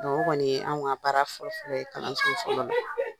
Kɔni ye an ka baara fƆlƆ fƆlƆ ye kalanso fɔlɔ la,